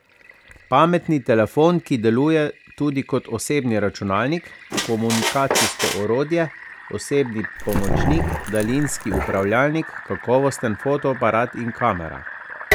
Pametni telefon, ki deluje tudi kot osebni računalnik, komunikacijsko orodje, osebni pomočnik, daljinski upravljalnik, kakovosten fotoaparat in kamera.